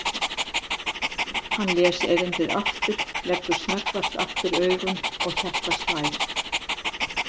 Hann les erindið aftur, leggur snöggvast aftur augun og hjartað slær.